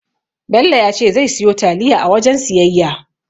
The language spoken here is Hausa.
Bello ya ce zai siyo taliya a wajen siyayya.